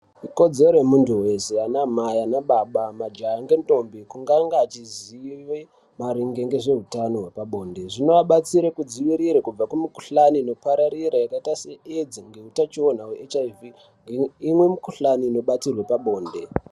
Ikodzero yemuntu weshe namai ana baba majaha ngendombi kuti anga achizive maringe nezveutano hwepabonde zvinobatsire ngenge vanga vachidzivirirwe kubva kumukuhlani inopararira yakaita se edzi nehutachiwana hwe hiv imweni mukuhlani inobatirwe pabonde.